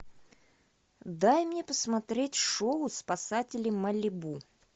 дай мне посмотреть шоу спасатели малибу